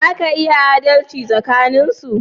Za ka iya adalci tsakanin su